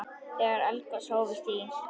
Þegar eldgos hófust í